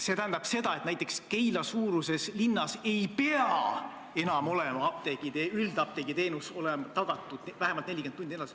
See tähendab, et näiteks Keila-suuruses linnas ei pea üldapteegiteenus enam olema tagatud vähemalt 40 tundi.